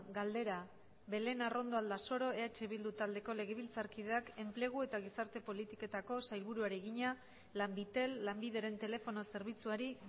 galdera belen arrondo aldasoro eh bildu taldeako legebiltzarkideak enplegu eta gizarte politiketako sailburuari egina lanbitel lanbideren telefono zerbitzuari